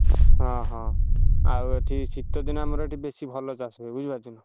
ହଁ ହଁ। ଆଉ ଏଠି ଶୀ ତ ଦିନେ ଆମର ଏଠି ବେଶୀ ଭଲ ଚାଷ ହୁଏ ବୁଝିପାରୁଛ ନା।